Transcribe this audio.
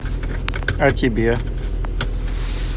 а тебе